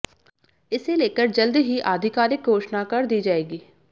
इसे लेकर जल्द ही आधिकारिक घोषणा कर दी जाएगी